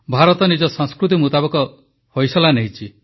ଭାରତ ନିଜ ସଂସ୍କୃତି ମୁତାବକ ଫଇସଲା ନେଲା